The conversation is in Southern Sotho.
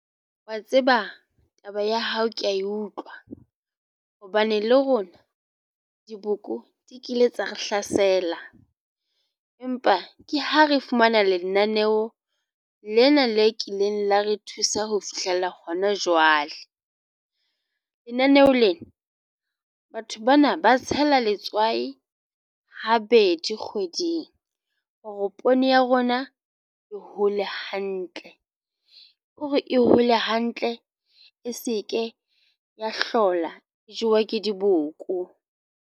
Wa tseba taba ya hao, ke ya utlwa hobane le rona diboko di kile tsa re hlasela, empa ke ha re fumana lenaneo lena le kileng la re thusa ho fihlella hona jwale. Lenaneho lena batho bana ba tshela letswai habedi kgweding hore poone ya rona e hole hantle hore e hole hantle e se ke ya hlola jewa ke diboko.